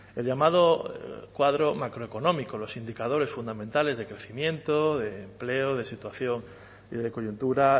el llamado cuadro macroeconómico los indicadores fundamentales de crecimiento de empleo de situación y de coyuntura